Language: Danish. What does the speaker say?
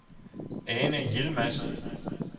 Ane Yilmaz